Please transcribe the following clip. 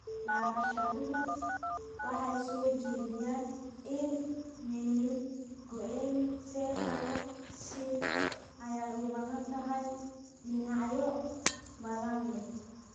Daraasaduhu waxay soo jeediyeen in meningoencephalocele ay u badan tahay cillad dhinacyo badan leh.